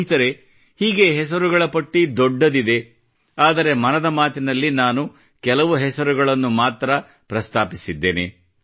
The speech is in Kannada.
ಸ್ನೇಹಿತರೆ ಹೀಗೆ ಹೆಸರುಗಳ ಪಟ್ಟಿ ದೊಡ್ಡದಿದೆ ಆದರೆ ಮನದ ಮಾತಿನಲ್ಲಿ ನಾನು ಕೆಲವು ಹೆಸರುಗಳನ್ನು ಮಾತ್ರ ಪ್ರಸ್ತಾಪಿಸಲಾಯಿತು